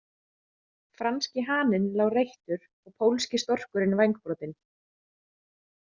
Franski haninn lá reyttur og pólski storkurinn vængbrotinn.